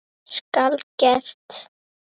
Skal gert!